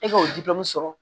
E k'o di dɔɔni sɔrɔ